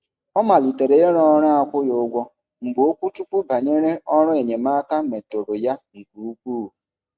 Ọ malitere iru ọrụ akwụghị ụgwọ mgbe okwuchukwu banyere ọrụ enyemaaka meturu ya nke ukwuu.